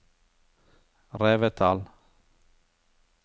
Revetal